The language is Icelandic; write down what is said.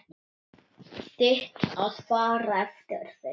Þitt að fara eftir þeim.